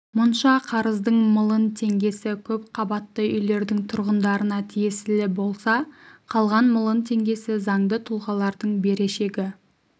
мұнша қарыздың млн теңгесі көп қабатты үйлердің тұрғындарына тиесілі болса қалған млн теңгесі заңды тұлғалардың берешегі